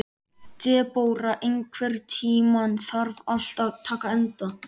Debóra, einhvern tímann þarf allt að taka enda.